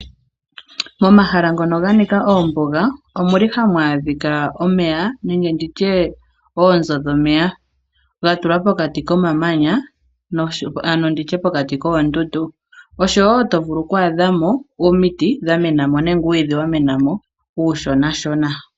Momahala ngono ganika oombuga omuli hamu adhikwa omeya nenge nditye oonzo dhomeya dhatulwa pokati komamanya ano pokati koondundu, osho woo tovulu kwaadhamo omiti dhamena mo nenge uumwiidhi wamena mo uushona shona.